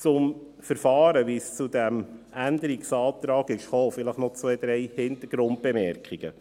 Zum Verfahren, also wie es zu diesem Abänderungsantrag kam, vielleicht noch zwei, drei Hintergrundbemerkungen.